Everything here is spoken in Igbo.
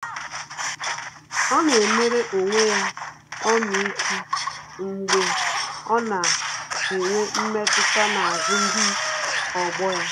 Ọ́ nà-éméré onwe ya ọmịiko mgbe ọ́ nà-ènwé mmetụta n’ázụ́ ndị ọgbọ ya.